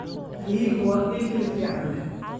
Riyuhu waa il hilib fiican leh.